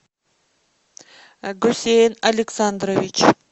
гусейн александрович